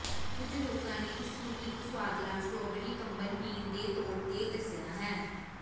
ਕੁਝ ਲੋਕਾਂ ਨੇ ਇਸ ਨੂੰ ਇੱਕ ਸੁਆਦਲਾ ਸਟ੍ਰਾਬੇਰੀ ਕੰਬਣ ਪੀਣ ਦੇ ਤੌਰ ਤੇ ਦੱਸਿਆ ਹੈ